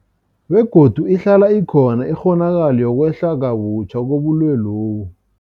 Begodu ihlala ikhona ikghonakalo yokwehla kabutjha kobulwelobu.